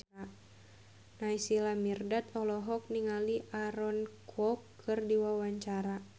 Naysila Mirdad olohok ningali Aaron Kwok keur diwawancara